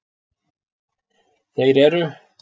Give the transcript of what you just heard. Þeir eru: